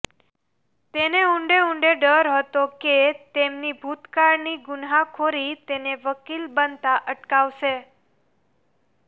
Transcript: તેને ઉંડે ઉંડે ડર હતો કે તેમની ભૂતકાળની ગુન્હાખોરી તેને વકીલ બનતાં અટકાવશે